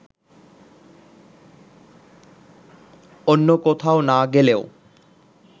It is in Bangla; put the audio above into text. অন্য কোথাও না গেলেও